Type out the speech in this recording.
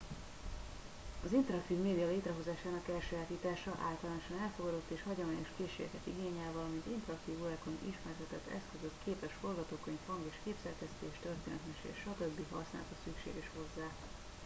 az interaktív média létrehozásának elsajátítása általánosan elfogadott és hagyományos készségeket igényel valamint interaktív órákon ismertetett eszközök képes forgatókönyv hang- és képszerkesztés történetmesélés stb. használata szükséges hozzá